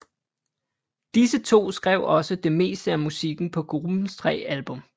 Disse to skrev også det meste af musikken på gruppens tre album